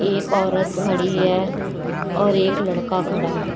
एक औरत खड़ी है और एक लड़का खड़ा है।